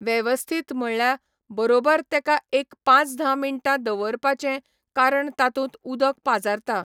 वेवस्थित मळ्ळ्या बरोबर तेका एक पांच धा मिण्टां दवरपाचें कारण तातूंत उदक पाजारता